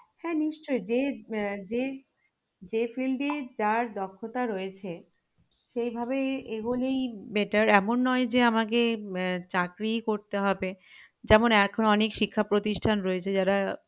হ্যাঁ নিশ্চই যে আহ যে যে field এ যার দক্ষতা রয়েছে সেইভাবে এগোলেই better এমন নই যে আমাকে আহ চাকরিই করতে হবে যেমন এখন অনেক শিক্ষা প্রতিষ্ঠান রয়েছে যারা